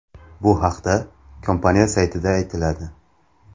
Bu haqda kompaniya saytida aytiladi .